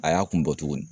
A y'a kun bɔ tuguni